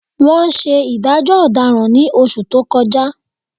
Wọ́n ṣe ìdájọ́ ọ̀daràn ní oṣù tó kọjá